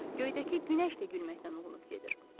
Göydəki günəş də gülməkdən uğunub gedir.